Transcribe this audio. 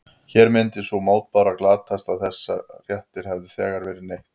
Hér myndi sú mótbára glatast að þessa réttar hefði þegar verið neytt.